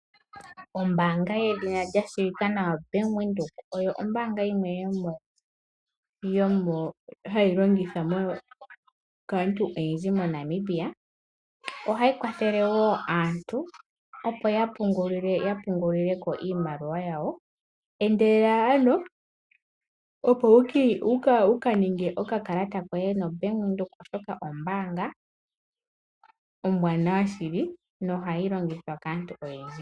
Ombaanga yedhina lya shiwika nawa bank Windhoek, oyo ombaanga yimwe hayi longithwa kaantu oyendji moNamibia. Ohayi kwathele wo aantu opo ye ya pungulileko iimaliwa yawo. Endelela ano opo wuka ninge okakalata koye no bank Windhoek, oshoka oyo ombaanga ombwaanawa shili na ohayi longithwa kaantu oyendji.